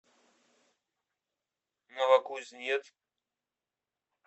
новокузнецк